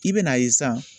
I bɛn'a ye san